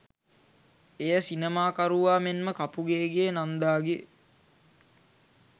එය සිනමාකරුවා මෙන්ම කපුගේගේ නන්දාගේ